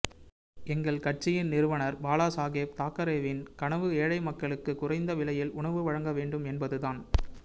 எங்கள் கட்சியின் நிறுவனர் பாலாசாகேப் தாக்கரேவின் கனவு ஏழை மக்களுக்கு குறைந்த விலையில் உணவு வழங்க வேண்டும் என்பதுதான்